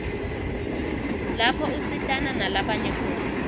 lapho usitana nalabanye khona